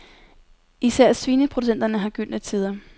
Især svineproducenterne har gyldne tider.